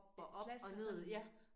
Slasker sådan